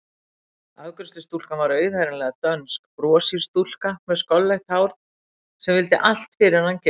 Afgreiðslustúlkan var auðheyranlega dönsk, broshýr stúlka með skolleitt hár sem vildi allt fyrir hann gera.